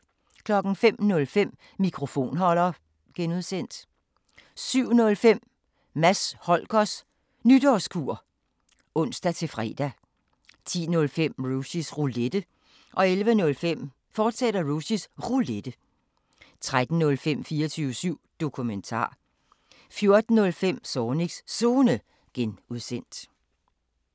05:05: Mikrofonholder (G) 07:05: Mads Holgers Nytårskur (ons-fre) 10:05: Rushys Roulette 11:05: Rushys Roulette, fortsat 13:05: 24syv Dokumentar 14:05: Zornigs Zone (G)